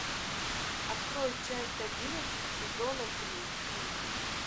открой часть одиннадцать сезона три крик